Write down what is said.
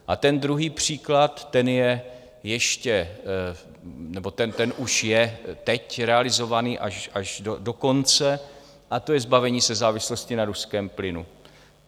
A ten druhý příklad, ten je ještě - nebo ten už je teď realizován až do konce, a to je zbavení se závislosti na ruském plynu.